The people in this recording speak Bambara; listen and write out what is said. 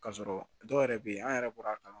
K'a sɔrɔ dɔw yɛrɛ bɛ yen an yɛrɛ bɔra a kama